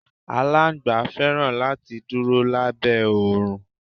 Aláńgbá fẹ́ràn láti dúró lábẹ́ oòrùn.